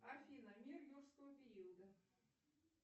афина мир юрского периода